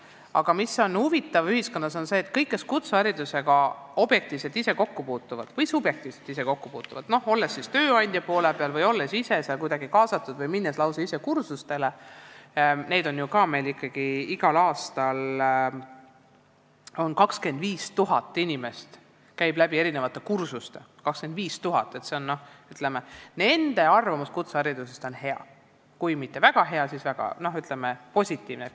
Aga huvitav on see, et kõigil, kes kutseharidusega objektiivselt või subjektiivselt ise kokku puutuvad, olles tööandja poole peal, olles kuidagi kaasatud või minnes lausa ise kursustele , on kutseharidusest hea arvamus, kui ka mitte väga hea, siis positiivne.